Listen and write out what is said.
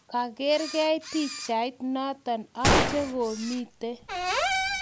kagerei pichait notok ak chekomito